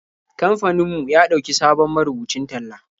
Kamfanin mu ya ɗauki sabon marubucin talla.